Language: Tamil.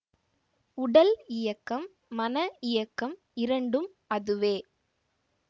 உடல் இயக்கம் மன இயக்கம் இரண்டும் அதுவே